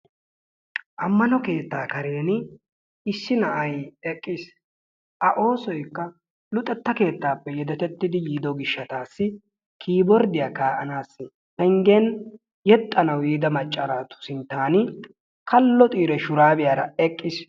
Amaano keettaa karen issi na'ay eqqiis. A oosoykka luxxetta keettaappe yedetettidi yiido giishshatassi kiborddiyaa ka"anaassi yeexxanawu yiida macca naatu sinttan kalo xiiri shuurabiyaara eqqiis.